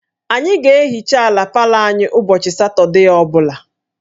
Anyị ga-ehicha ala palọ anyị ụbọchị Satọde ọ bụla